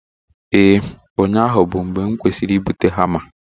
Ee, ụnyahụ bụ mgbe m kwesịrị ịbụta hama